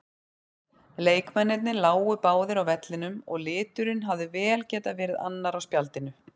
Leikmennirnir lágu báðir á vellinum og liturinn hefði vel getað verið annar á spjaldinu.